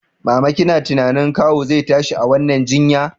Mama kina tunanin kawu zai tashi a wannan jinya?